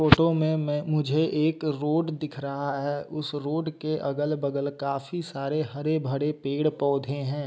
Photo में मैं मुझे एक रोड दिख रहा है उस रोड के अगल बगल काफी सारे हरे भरे पेड़ पौधे हैं।